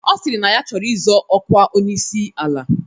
Ọ sịrị na ya chọrọ izọ ọkwa onyeisi ala.